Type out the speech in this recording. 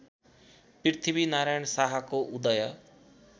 पृथ्वीनारायण शाहको उदय